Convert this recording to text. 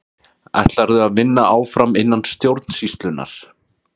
Ætlarðu að vinna áfram innan stjórnsýslunnar?